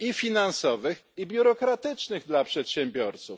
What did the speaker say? i finansowych, i biurokratycznych dla przedsiębiorców.